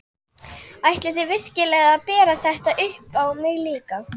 Ætlið þið virkilega að bera þetta upp á mig líka?